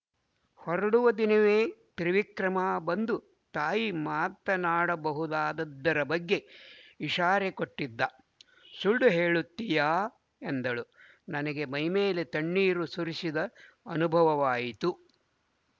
ಹೊರಡುವ ದಿನವೇ ತ್ರಿವಿಕ್ರಮ ಬಂದು ತಾಯಿ ಮಾತನಾಡಬಹುದಾದ್ದರ ಬಗ್ಗೆ ಇಷಾರೆ ಕೊಟ್ಟಿದ್ದ ಸುಳ್ಳು ಹೇಳುತ್ತೀಯಾ ಎಂದಳು ನನಗೆ ಮೈಮೇಲೆ ತಣ್ಣೀರು ಸುರಿಸಿದ ಅನುಭವವಾಯಿತು